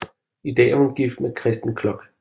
I dag er hun gift med Kresten Kloch